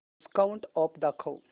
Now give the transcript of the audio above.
discount offer दाखव